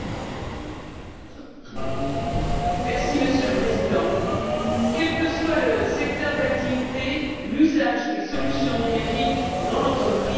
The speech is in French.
Monsieur le Président, quel que soit le secteur d'activité, l'usage de solutions numériques dans l'entreprise est un formidable accélérateur de croissance.